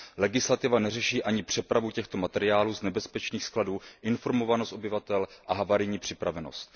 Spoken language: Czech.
Legislativa neřeší ani přepravu těchto materiálů z nebezpečných skladů, informovanost obyvatel a havarijní připravenost.